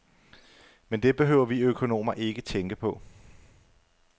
Men det behøver vi økonomer ikke tænke på.